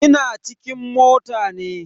Ina cikin mota ne.